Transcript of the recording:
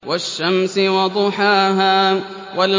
وَالشَّمْسِ وَضُحَاهَا